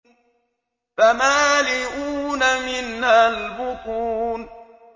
فَمَالِئُونَ مِنْهَا الْبُطُونَ